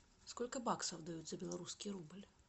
сколько баксов дают за белорусский рубль